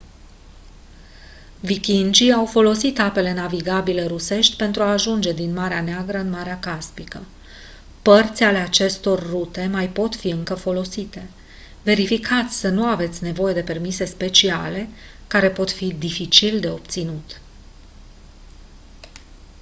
vikingii au folosit apele navigabile rusești pentru a ajunge din marea neagră în marea caspică părți ale acestor rute mai pot fi încă folosite verificați să nu aveți nevoie de permise speciale care pot fi dificil de obținut